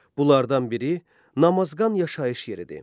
Bunlardan biri Namazqan yaşayış yeridir.